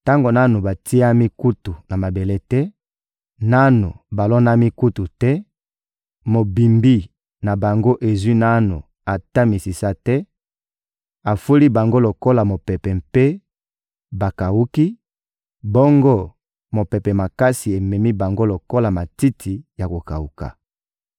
Tango nanu batiami kutu na mabele te, nanu balonami kutu te, mobimbi na bango ezwi nanu ata misisa te, afuli bango lokola mopepe mpe bakawuki, bongo mopepe makasi ememi bango lokola matiti ya kokawuka.